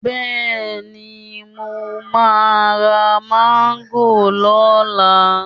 Bẹ́ẹ̀ni, mo máa ra Máńgò lọ́la